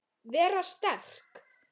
Vera sterk.